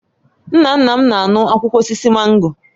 Nna nna m na-aṅụ akwụkwọ osisi mango